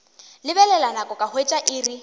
lebelela nako ka hwetša iri